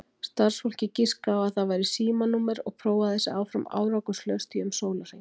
Starfsfólkið giskaði á að það væri símanúmer og prófaði sig áfram árangurslaust í um sólarhring.